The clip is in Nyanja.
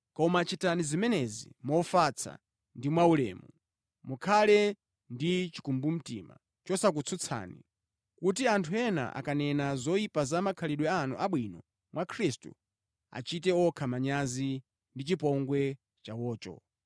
Koma chitani zimenezi mofatsa ndi mwaulemu, mukhale ndi chikumbumtima chosakutsutsani, kuti anthu ena akanena zoyipa za makhalidwe anu abwino mwa Khristu, achite okha manyazi ndi chipongwe chawocho.